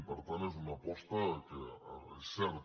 i per tant és una aposta que és cert